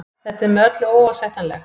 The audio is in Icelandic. Þetta er með öllu óásættanlegt